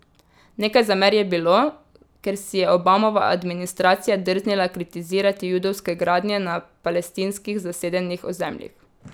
Nekaj zamer je bilo, ker si je Obamova administracija drznila kritizirati judovske gradnje na palestinskih zasedenih ozemljih.